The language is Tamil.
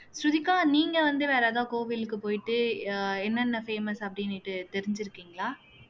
ஸ்ருதிகா நீங்க வந்து வேற எதாவது கோவிலுக்கு போயிட்டு ஆஹ் என்னென்ன famous அப்படின்னுட்டு தெரிஞ்சிருக்கீங்களா